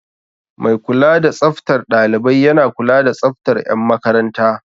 Mai kula da tsaftar ɗalibai yana kula da tsaftar 'yan makaranta.